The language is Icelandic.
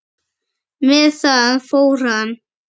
Með það fór hann.